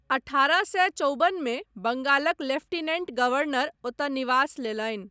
अठारह सए चौबनमे, बंगालक लेफ्टिनेंट गवर्नर ओतय निवास लेलनि।